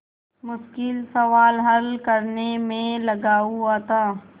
मुश्किल सवाल हल करने में लगा हुआ था